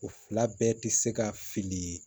O fila bɛɛ tɛ se ka fili